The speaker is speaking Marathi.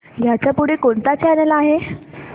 ह्याच्या पुढे कोणता चॅनल आहे